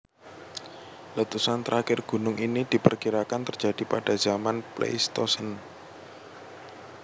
Letusan terakhir gunung ini diperkirakan terjadi pada zaman Pleistosen